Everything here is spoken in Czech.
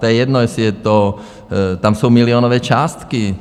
To je jedno, jestli je to - tam jsou milionové částky.